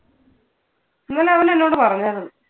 ഇന്നലെ അവൻ എന്നോട് പറഞ്ഞാർന്നു.